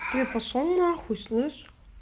ты пошёл на хуй слышь